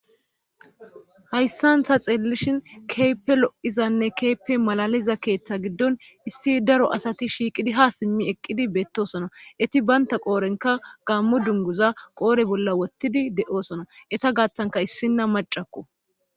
Hayssan ta xeellishin keeppe lo7izanne keeppe malaliza keeththa giddon issi daro asati shiiqidi ha simmi eqqidi beettosona eti baynta qoorenka gammo dunguza qoore bolla wottidi de7oosona eta gaattanka issinna macakko.